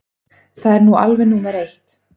Það er nú alveg númer eitt.